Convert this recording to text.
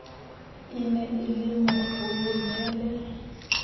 e ne e le mokolonele